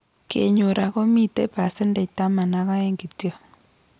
Kenyor akomitei percent taman ak aeng kityo